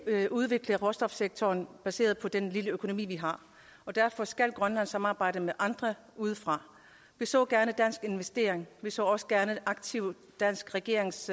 udvikle råstofsektoren baseret på den lille økonomi vi har og derfor skal grønland samarbejde med andre udefra vi så gerne danske investeringer og vi så også gerne en aktiv dansk regerings